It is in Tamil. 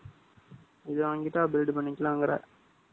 இது வாங்கிட்டா, build பண்ணிக்கலாங்கற